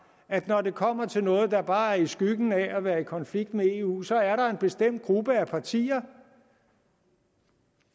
at når det kommer til noget der bare er i skyggen af at være i konflikt med eu så er der en bestemt gruppe af partier